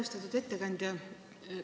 Austatud ettekandja!